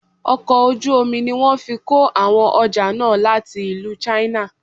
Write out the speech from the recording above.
Ọkọ̀ ojú omi ní wọ́n fí kó àwọn ọjà náà láti ìlú china.